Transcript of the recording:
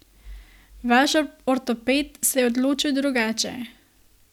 Vaš ortoped se je odločil drugače.